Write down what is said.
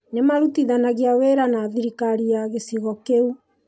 Nĩ maarutithanagia wĩra na thirikari ya gĩcigo kĩu.